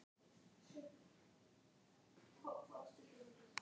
Þetta er svo ófagleg hegðun!